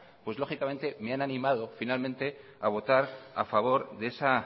pues lógicamente me han animado finalmente a votar a favor de esa